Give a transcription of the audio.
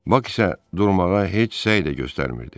Bak isə durmağa heç səy də göstərmirdi.